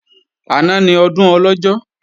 Àná ni Ọdún Ọlọ́jọ́